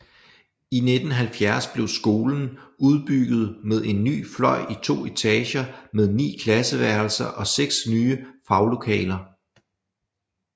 I 1970 blev skolen udbygget med en ny fløj i 2 etager med 9 klasseværelser og 6 nye faglokaler